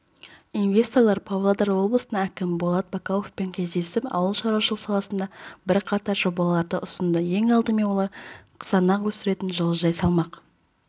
инвесторлар павлодар облысының әкімі болат бақауовпен кездесіп ауыл шаруашылығы саласындағы бірқатар жобаларды ұсынды ең алдымен олар қызанақ өсіретін жылыжай салмақ